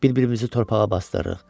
Bir-birimizi torpağa basdırırıq.